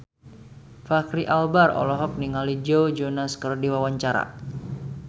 Fachri Albar olohok ningali Joe Jonas keur diwawancara